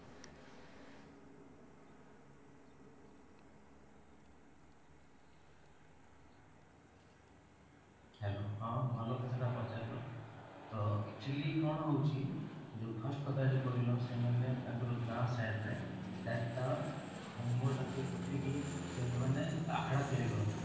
hello ହଁ, ଭଲ କଥାଟା ପଚାରିଲ ତ actually କଣ ହଉଛି ଯୋଉ first କଥା ଯୋଉ କହିଲ ସେମାନେ ତାଙ୍କର ଗାଁ side ରେ ଚାରିଟା ଖମ୍ବଟାକୁ ପୋତିକି ସେମାନେ ଅଖାଡା ତିଆରି କରନ୍ତି